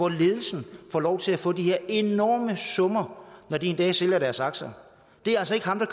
ledelsen får lov til at få de her enorme summer når de en dag sælger deres aktier det er altså ikke ham der